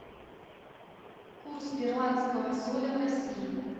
курс перуанского соля в россии